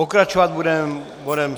Pokračovat budeme bodem